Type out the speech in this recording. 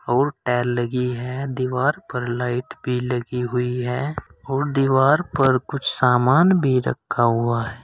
लगी है दीवार पर लाइट भी लगी हुई है और दीवार पर कुछ सामान भी रखा हुआ है।